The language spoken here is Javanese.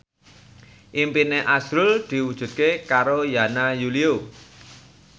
impine azrul diwujudke karo Yana Julio